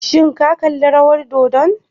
Shin kalli rawar dodon?